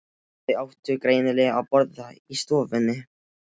Þau áttu greinilega að borða í stofunni.